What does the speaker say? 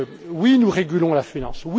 Oui, nous régulons la finance.